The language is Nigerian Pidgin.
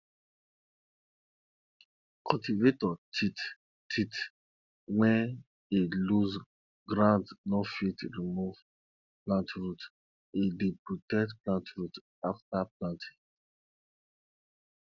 cultivator teeth teeth when e loose ground no fit remove plant root e dey protect plant growth after planting